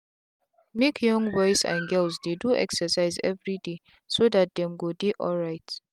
make young boys and girls dey do excercise everydayso that them go dey alright.